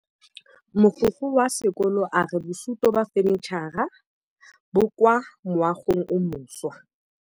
Mogokgo wa sekolo a re bosutô ba fanitšhara bo kwa moagong o mošwa.